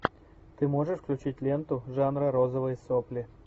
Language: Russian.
ты можешь включить ленту жанра розовые сопли